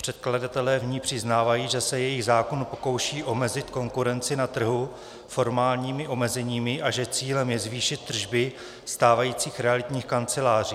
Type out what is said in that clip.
Předkladatelé v ní přiznávají, že se jejich zákon pokouší omezit konkurenci na trhu formálními omezeními a že cílem je zvýšit tržby stávajících realitních kanceláří.